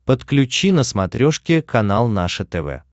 подключи на смотрешке канал наше тв